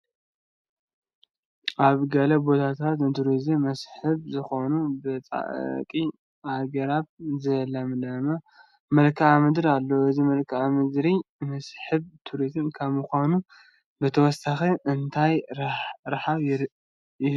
ኣብ ገለ ቦታታት ንቱሪስት መስሕብ ዝኸውን ብፃዕቒ ኣግራብ ዝለምለመ መልክአ ምድር ኣሎ፡፡ እዚ መልክዓ ምድሪ መስሕብ ቱሪስት ካብ ምዃን ብተወሳኺ እንታይ ረብሓ ይህብ?